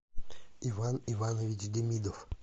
иван иванович демидов